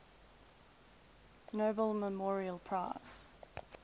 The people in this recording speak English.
nobel memorial prize